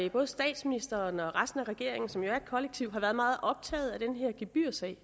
at både statsministeren og resten af regeringen som jo er et kollektiv har været meget optaget af den her gebyrsag